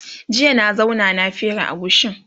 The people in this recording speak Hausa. jiya na zauna na fere agushin